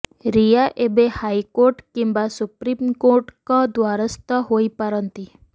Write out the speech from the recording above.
ରିୟା ଏବେ ହାଇକୋର୍ଟ କିମ୍ୱା ସୁପ୍ରିମକୋର୍ଟଙ୍କ ଦ୍ୱାରସ୍ଥ ହୋଇ ପାରନ୍ତି